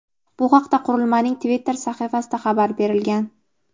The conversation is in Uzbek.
Bu haqda qurilmaning Twitter sahifasida xabar berilgan.